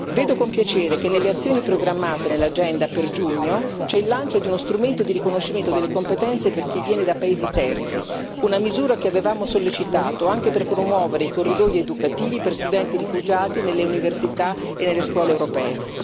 Vedo con piacere che nelle azioni programmate nell'agenda per giugno c'è il lancio di uno strumento di riconoscimento delle competenze per chi viene da paesi terzi, una misura che avevamo sollecitato anche per promuovere i corridoi educativi per studenti rifugiati nelle università e nelle scuole europee.